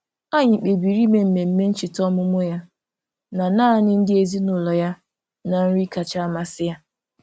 Anyị kpebiri ime mmemme ncheta ọmụmụ ya na naanị ndị ezinụụlọ ya na nri kacha amasị ya.